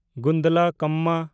ᱜᱩᱱᱰᱞᱟᱠᱢᱢᱟ